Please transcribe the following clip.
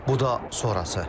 Bu da sonrası.